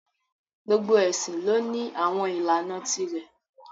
Gbogbo ẹ̀sìn lọ ní àwọn ìlànà ti rẹ̀